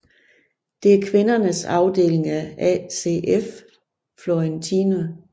Det er kvindernes afdeling af ACF Fiorentina